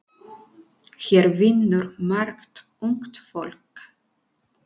Hér vinnur margt ungt fólk.